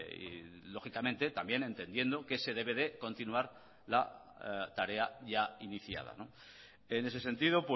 y lógicamente también entendiendo que se debe de continuar la tarea ya iniciada en ese sentido